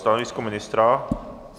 Stanovisko ministra?